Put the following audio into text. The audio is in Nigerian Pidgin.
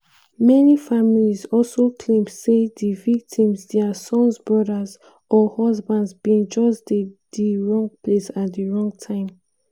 many families also claim say di victims - dia sons brothers or husbands – bin just dey di wrong place at di wrong time.